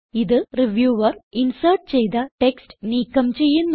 ഇത് reviewer insert ചെയ്ത text നീക്കം ചെയ്യുന്നു